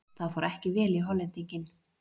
Það fór ekki vel í Hollendinginn.